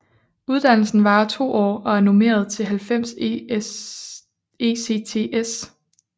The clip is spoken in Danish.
Uddannelsen varer to år og er normeret til 90 ECTS